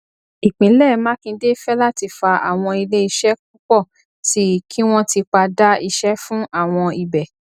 ìpínlẹ makinde fẹláti fa àwọn ilé iṣẹ púpọ sí i kí wọn tipa dá iṣẹ fún àwọn ibẹ